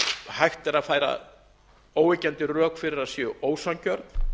hægt er að færa óyggjandi rök fyrir að séu ósanngjörn